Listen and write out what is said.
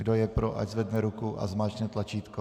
Kdo je pro, ať zvedne ruku a zmáčkne tlačítko.